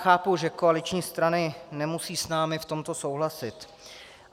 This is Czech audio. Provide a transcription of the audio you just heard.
Chápu, že koaliční strany nemusí s námi v tomto souhlasit.